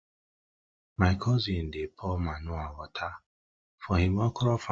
my cousin dey pour manure water for him okra farm